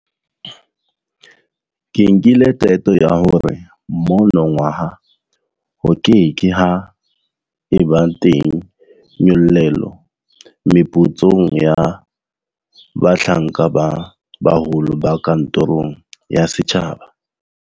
Ke nkile qeto ya hore monongwaha ho ke ke ha eba teng nyollelo meputsong ya bahlanka ba baholo ba kantorong ya setjhaba.